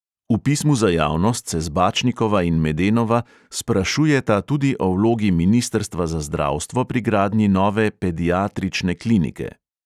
V pismu za javnost se zbačnikova in medenova sprašujeta tudi o vlogi ministrstva za zdravstvo pri gradnji nove pediatrične klinike.